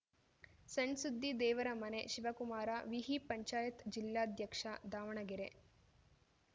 ಸಣ್‌ ಸುದ್ದಿ ದೇವರಮನೆ ಶಿವಕುಮಾರ ವಿಹಿಪಂಚಾಯತ್ ಜಿಲ್ಲಾಧ್ಯಕ್ಷ ದಾವಣಗೆರೆ